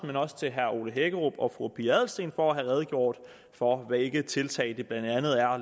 men også til herre ole hækkerup og fru pia adelsteen for at have redegjort for hvilke tiltag det blandt andet er